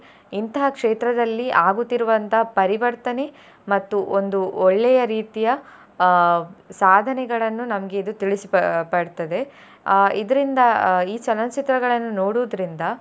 ಇಂತಹ ಕ್ಷೇತ್ರದಲ್ಲಿ ಆಗುತಿರುವಂತ ಪರಿವರ್ತನೆ ಮತ್ತು ಒಂದು ಒಳ್ಳೆಯ ರೀತಿಯ ಅಹ್ ಸಾಧನೆಗಳನ್ನು ನಮ್ಗೆ ಇದು ತಿಳಿಸಿ ಪ~ ಪಡ್ತದೆ ಅಹ್ ಇದ್ರಿಂದ ಅಹ್ ಈ ಚಲನಚಿತ್ರಗಳನ್ನು ನೋಡುದ್ರಿಂದ.